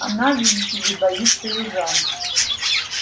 она видите ли боится южан